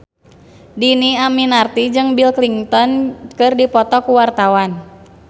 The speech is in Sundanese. Dhini Aminarti jeung Bill Clinton keur dipoto ku wartawan